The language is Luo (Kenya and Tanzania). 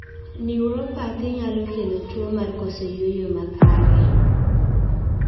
Neoropathy nyalo kelo tuo mar koso yueyo makare